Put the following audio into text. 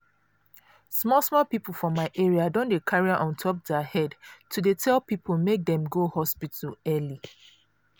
small small people for my area don dey carry am on top their head to dey tell people make dem go hospital early.